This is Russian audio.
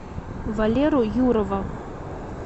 валеру юрова